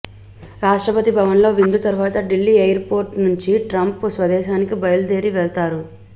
రాష్ట్రపతి భవవన్ లో విందు తర్వాత ఢిల్లీ ఎయిర్ పోర్టు నుంచి ట్రంప్ స్వదేశానికి బయలుదేరి వెళతారు